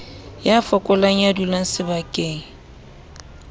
ya fokolang ya dulang sebakeng